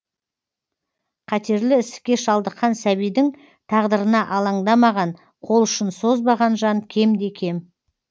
қатерлі ісікке шалдыққан сәбидің тағдырына алаңдамаған қолұшын созбаған жан кемде кем